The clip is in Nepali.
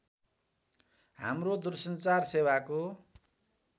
हाम्रो दूरसञ्चार सेवाको